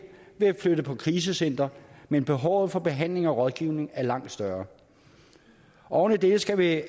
ved at flytte på krisecenter men behovet for behandling og rådgivning er langt større oven i det skal der